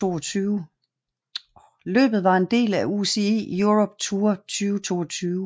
Løbet var en del af UCI Europe Tour 2022